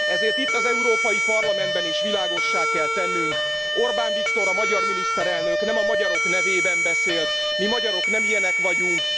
Ezért itt az Európai Parlamentben is világossá kell tennünk Orbán Viktor, a magyar miniszterelnök nem a magyarok nevében beszélt, mi magyarok nem ilyenek vagyunk!